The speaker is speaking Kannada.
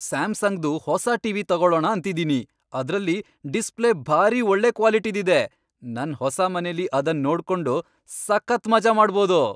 ಸ್ಯಾಮ್ಸಂಗ್ದು ಹೊಸ ಟಿವಿ ತಗೊಳಣ ಅಂತಿದೀನಿ, ಅದ್ರಲ್ಲಿ ಡಿಸ್ಪ್ಲೇ ಭಾರೀ ಒಳ್ಳೆ ಕ್ವಾಲಿಟಿದಿದೆ.. ನನ್ ಹೊಸ ಮನೆಲಿ ಅದನ್ ನೋಡ್ಕೊಂಡು ಸಖತ್ ಮಜಾ ಮಾಡ್ಬೋದು.